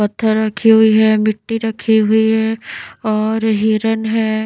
पत्थर रखी हुई है मिट्टी रखी हुई है और हिरण है।